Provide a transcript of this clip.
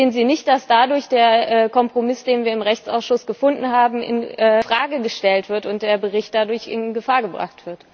Sehen Sie nicht, dass dadurch der Kompromiss, den wir im Rechtsausschuss gefunden haben, infrage gestellt wird und der Bericht dadurch in Gefahr gebracht wird?